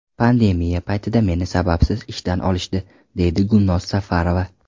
Pandemiya paytida meni sababsiz ishdan olishdi”, deydi Gulnoz Safarova.